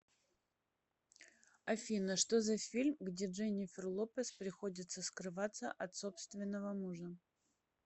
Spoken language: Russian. афина что за фильм где дженифер лопез приходится скрываться от собственного мужа